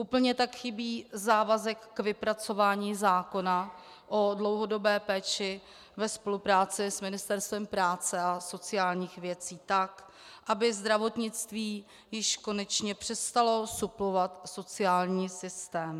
Úplně tak chybí závazek k vypracování zákona o dlouhodobé péči ve spolupráci s Ministerstvem práce a sociálních věcí tak, aby zdravotnictví již konečně přestalo suplovat sociální systém.